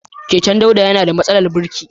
Keken Dauda yana da matsalar birki.